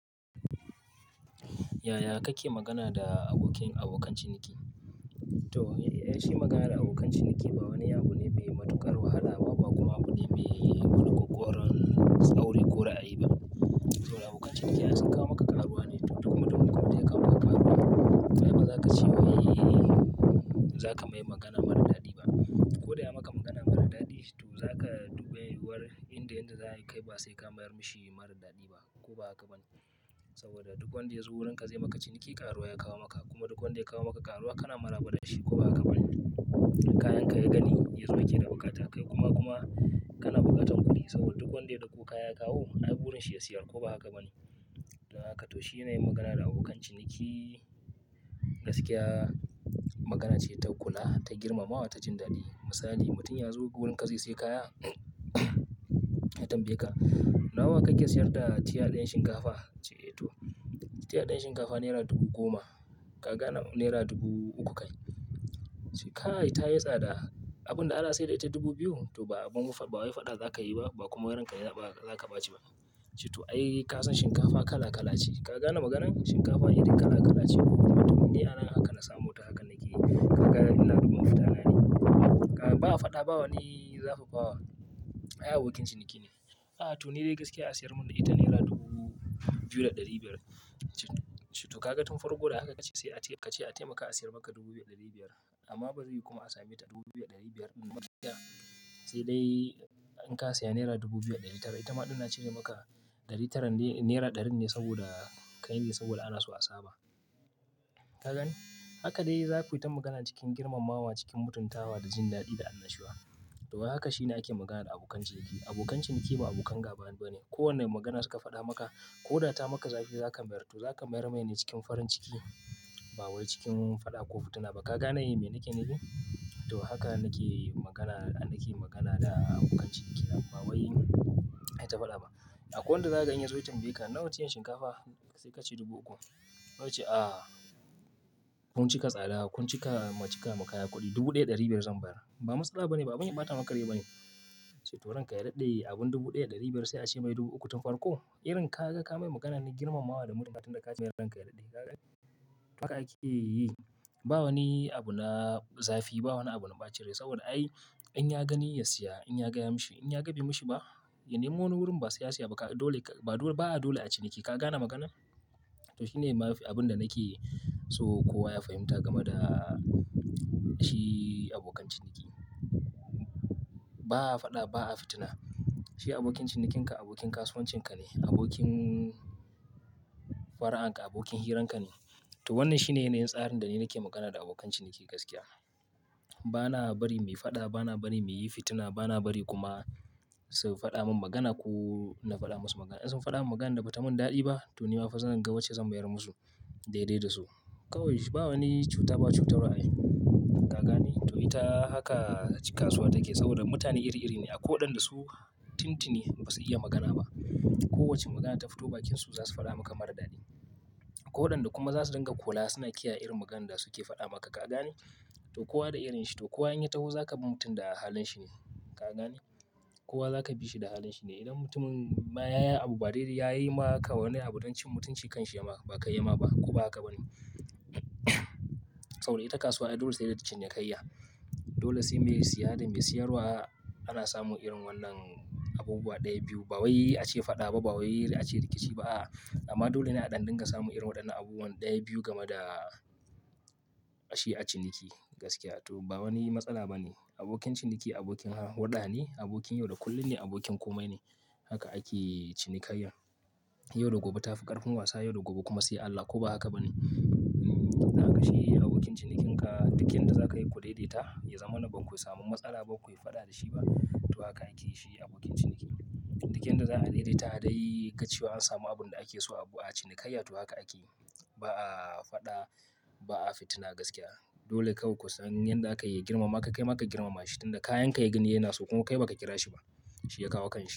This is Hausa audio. Yaya kake magana da abokin abokan ciniki? To, ai shi maganar da abokan ciniki ba wani abu ne mai matuƙar wahala ba kuma abu ne mai maka-kukar tsauri ko ra'ayi ba. To abokan ciniki za su kawo maka karuwa ne kuma duk wanda ya kawo maka karuwa sai ba za ka ce wa yi za ka mai magana mara daɗi ba. Ko da ya maka magana mara daɗi, to za ka dubi wurin inda yanda za ka yi kai ba sai ka mayar mashi yi mara daɗi ba ko ba haka ba ne? Saboda duk wanda ya zo wurinka zai maka ciniki karuwa ya kawo maka kuma duk wanda ya kawo maka karuwa kana maraba da shi ko ba haka ba ne? Kayanka ya gani ya zo yake da bukatar kai kuma kuma kana bukatan kuɗi saboda duk wanda ya ɗauko kaya ya kawo, ai gurin shi ya siyar ko ba haka ba ne? Dan haka to shi ne yin magana da abokan ciniki gaskiya. Magana ce ta kula, ta girmamawa, ta jin daɗi. Misali, mutum ya zo gurinka zai sai kaya ya tambaye ka, "nawa kake siyar da tiya ɗin shinkafa?" ce "to tiya ɗiyar shinkafa naira dubu goma." Ka gane naira dubu uku kai. Ce kai ta yi tsa da abin da ana saida ita dubu biyu, to ba abun faɗa za ka yi ba ba kuma ranka ka za ka ba ci ba. To ai ka san shinkafa kala kala ce." Ka gane maganar? Shinkafa irin kala kala ce. Mutum ne ana haka na samo ta haka nake yi. Ka gane ina dubun fitana ne. A'a ba a faɗa ba, ba wani zafafa wa. Ai abokin ciniki ne. A'a to ni dai gaskiya asiyar mun ita naira dubu biyu da ɗari biyar. To ka ga tun farko da haka ka ce sai a ce ka ce a taimaka a siyar maka dubu biyar ɗari biyar amma ba zai yi kuma a sami ita dubu biyu da dari biyar ba. Mafita sai dai in ka saya naira dubu biyar ɗari tara, ita maɗina ce na yi maka ɗari tara naira ɗarin ne saboda ka yi saboda ana so a saba. Ka gane Haka dai za ku yi ta magana cikin girmamawa cikin mutuntawa da jin daɗi da annashuwa. To haka shine ake magana da abokan ciniki. Abokan ciniki ba abokan gaba ba ne. Ko wanne magana suka faɗa maka ko da ta maka zafi za ka mayar. To za ka mayar mai ne cikin farin ciki ba wai cikin faɗa ko fitina ba. Ka gane yi me nake nake yi? To haka nake yi magana nake yi magana da abokan ciniki ba wai ai ta faɗa ba. A kwai wanda za ka ga ya zo ya tambaye ka, "nawa ce yin shinkafa?" Sai ka ce dubu uku. Wai ya ce, "a kun cika tsada kun cika mu cika mu kaya kuɗi dubu ɗaya ɗari biyar zan bar." Ba matsala ba ne ba abin ɓata maka rai ba ne. To ranka ya daɗe abin dubu ɗaya ɗari biyar sai a ce mai dubu uku tun farko. Irin kaga ka mai magana ne girmamawa da mutunta tunda ka ce mai ranka ya daɗe. Ka gane? Haka ake yi. Ba wani abu na zafi ba, wani abu na ɓacin rai saboda ai in ya gani ya siya, in yaga ya mashi, in ya ga bai mashi ba, ya nemo wani wurin ba sai ya siya ba. Dole ba dole a ciniki. Ka gane magana? To shi ne abin da nake so kowa ya fahimta game da shi abokan ciniki. Ba a faɗa ba a fitina. Shi abokin cinikinka abokin kasuwancinka ne, abokin far'anka abokin hiranka ne. To wannan shi ne yana yin tsarin da ni nake magana da abokan ciniki gaskiya. Ba na bari mui faɗa, ba na bari mu yi fitina, ba na bari kuma su faɗa mun magana ko na faɗa musu magana. In sun faɗa mun maganan da bata mun daɗi ba to ni ma fasalin gauce zan mayar musu daidai da su. Kawai ba wani cuta ba cutarwa ai. Ka gane? To ita haka kasuwa take saboda mutane iri iri ne. Akwai wadanda su tintini ba su iya magana ba. Kowa ce magana ta fito bakinsu za su faɗa maka mara daɗi. Ko wadanda kuma za su dinga kula suna kiyaye irin maganan da suke faɗa maka. Ka gani? To kowa da irin shi. To kowa in ya taho za ka bi mutum da halin shi ne. Ka gane? Kowa za ka bi shi da halin shi ne. Idan mutumin ma ya yi abu ba dai dai ya yi ma kawai abu don cin mutunci kanshi ya ma ba ka yi ma ba ko ba haka ba ne? Saboda ita kasuwa ai dole sai dai ta cinikayya. Dole sai me ya siya da me siyarwa ana samu irin wannan abubuwa ɗaya biyu ba wai a ce faɗa ba ba wai a ce rikici ba a amma dole ne a ɗan dinga samu irin waɗannan abubuwa ɗaya biyu game da shi a ciniki gaskiya. To ba wani matsala ba ne. Abokin ciniki abokin haɗa ne, abokin yau da kullum ne, abokin komai ne. Haka ake cinikayya. Yau da gobe ta fi ƙarfin wasa yau da gobe kuma sai Allah ko ba haka ba ne? Hmmm kaga shi abokin cinikinka duk inda za ka yi ku daidaita ya zama na baku samu matsala ba, ku yi faɗa da shi ba. To haka ake yi shi abokin ciniki. Duk inda za a daidaita dai ga cewa an samu abun da ake so abu a cinikayya to haka ake yi. Ba a faɗa ba a fitina gaskiya. Dole kawai ku san yanda aka yi girmama kai maka ka girmama shi tunda kayan ka ya gani yana so kuma kai ba ka kira shi ba. Shi ya kawo kan shi.